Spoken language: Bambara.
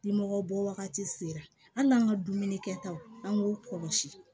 Ni mɔgɔ bɔ wagati sera hali an ka dumuni kɛtaw an k'u kɔlɔsi